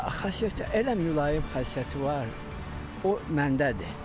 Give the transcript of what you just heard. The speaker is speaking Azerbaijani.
Xasiyyətcə elə mülayim xasiyyəti var, o məndədir.